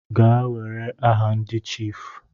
Gaa were aha ndi chiifu.